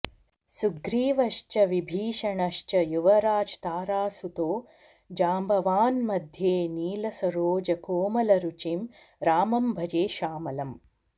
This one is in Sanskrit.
सुग्रीवश्च विभीषणश्च युवराज् तारासुतो जाम्बवान् मध्ये नील सरोज कोमलरुचिं रामं भजे श्यामलम्